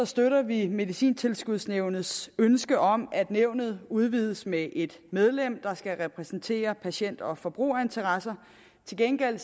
støtter vi medicintilskudsnævnets ønske om at nævnet udvides med et medlem der skal repræsentere patient og forbrugerinteresser til gengæld